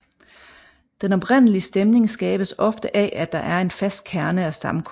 Den oprindelige stemning skabes ofte af at der er en fast kerne af stamkunder